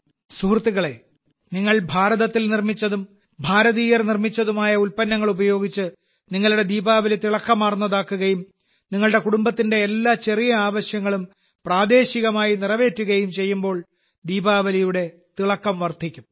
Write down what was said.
സുഹൃത്തുക്കളേ നിങ്ങൾ ഭാരതത്തിൽ നിർമ്മിച്ചതും ഭാരതീയർ നിർമ്മിച്ചതുമായ ഉൽപ്പന്നങ്ങൾ ഉപയോഗിച്ച് നിങ്ങളുടെ ദീപാവലി തിളക്കമാർന്നതാക്കുകയും നിങ്ങളുടെ കുടുംബത്തിന്റെ എല്ലാ ചെറിയ ആവശ്യങ്ങളും പ്രാദേശികമായി നിറവേറ്റുകയും ചെയ്യുമ്പോൾ ദീപാവലിയുടെ തിളക്കം വർദ്ധിക്കും